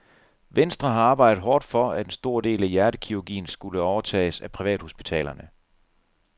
Venstre har arbejdet hårdt for, at en stor del af hjertekirurgien skulle overtages af privathospitalerne.